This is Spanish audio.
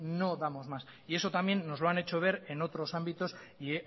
no damos más y eso también nos lo han hecho ver en otros ámbitos y